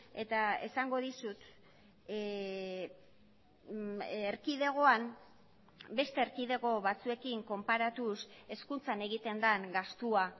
eta esango dizut erkidegoan beste erkidego batzuekin konparatuz hezkuntzan egiten den gastua